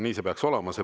Nii see peaks käima.